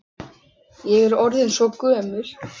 Ég er orðin svo gömul.